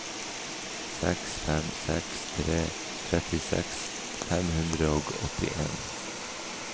seks fem seks tre trettiseks fem hundre og åttien